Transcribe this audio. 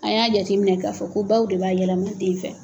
A y'a jateminɛ k'a fɔ ko baw de b'a yɛlɛma den fɛ.